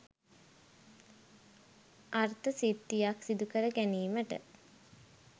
අර්ථ සිද්ධියක් සිදුකර ගැනීමට